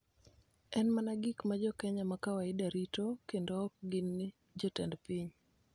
en mana gik ma jo Kenya ma kawaida rito kendo ok gin jotend piny.